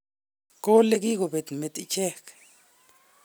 Kole kikobet met ichek.